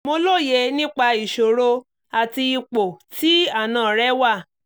mo lóye nípa ìṣòro àti ipò tí àna rẹ wà